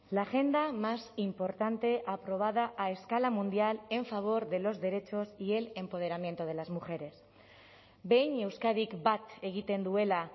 la agenda más importante aprobada a escala mundial en favor de los derechos y el empoderamiento de las mujeres behin euskadik bat egiten duela